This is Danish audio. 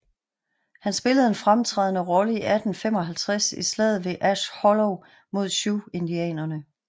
Han spillede en fremtrædende rolle i 1855 i Slaget ved Ash Hollow mod Sioux indianerne